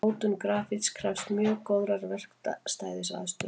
Mótun grafíts krefst mjög góðrar verkstæðisaðstöðu.